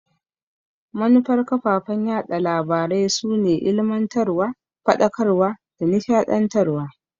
Manufar kafafen yaɗa labarai su ne ilimantarwa, Faɗakarwa da nishadantarwa.